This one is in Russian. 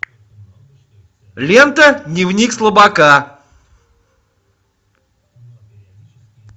лента дневник слабака